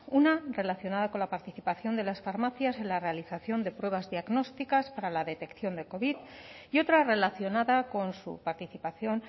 una relacionada con la participación de las farmacias en la realización de pruebas diagnósticas para la detección de covid y otra relacionada con su participación